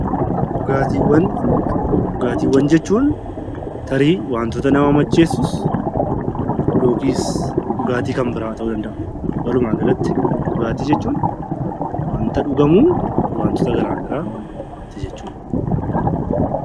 Dhugaatiiwwan Dhugaatiiwwan jechuun tarii wantoota nama macheessus yookiis dhugaatii kan biraa ta'uu danda'a. Walumaagalatti, dhugaatii jechuun wanta dhugamu wantoota garaagaraati jechuu dha.